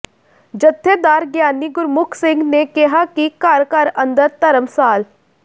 ਜਥੇਦਾਰ ਗਿਆਨੀ ਗੁਰਮੁਖ ਸਿੰਘ ਨੇ ਕਿਹਾ ਕਿ ਘਰ ਘਰ ਅੰਦਰ ਧਰਮਸਾਲ